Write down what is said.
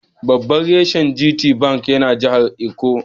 Babban reshen GT Bank yana jahar Ikko.